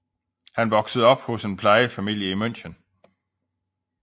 Han voksede op hos en plejefamilie i München